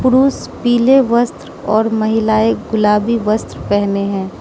पुरुष पीले वस्त्र और महिलाएं गुलाबी वस्त्र पेहने हैं।